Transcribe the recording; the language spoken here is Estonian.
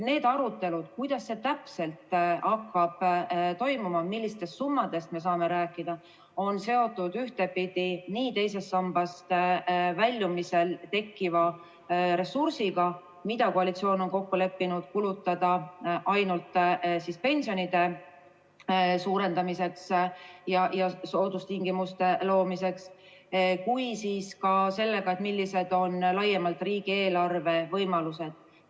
Need arutelud, kuidas see täpselt hakkab toimuma ja millistest summadest me saame rääkida, on seotud ühtepidi nii teisest sambast väljumisel tekkiva ressursiga – seda on koalitsiooni kokkuleppel plaanis kulutada ainult pensionide suurendamiseks ja soodustingimuste loomiseks – kui ka sellega, millised on laiemalt riigieelarve võimalused.